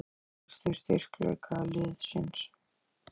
En helstu styrkleika liðsins?